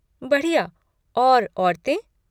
बढ़िया। और औरतें?